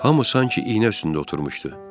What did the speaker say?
Hamı sanki iynə üstündə oturmuşdu.